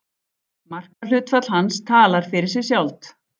Markahlutfall hans talar fyrir sig sjálft.